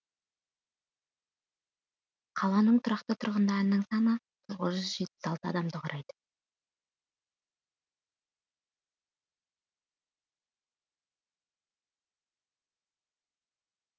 қаланың тұрақты тұрғындарының саны тоғыз жүз жетпіс алты адамды құрайды